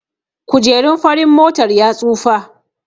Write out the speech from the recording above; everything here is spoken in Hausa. Kujerun farin motar ya tsufa